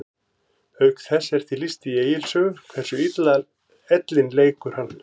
Auk þess er því lýst í Egils sögu hversu illa ellin leikur hann.